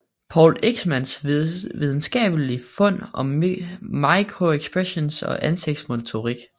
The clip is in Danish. Paul Ekmans videnskabelige fund om microexpressions og ansigtets motorik